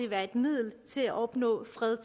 være et middel til at opnå fred